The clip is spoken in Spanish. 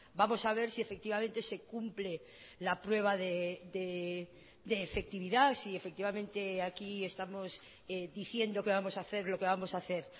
vamos a ver si efectivamente se cumple la prueba de efectividad si efectivamente aquí estamos diciendo que vamos a hacer lo que vamos a hacer